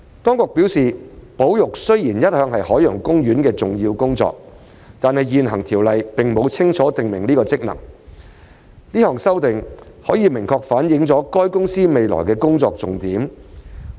當局表示，保育雖然一向是海洋公園的重要工作，但現行條例並沒有清楚訂明此職能，這項修訂可明確反映海洋公園公司未來的工作重點。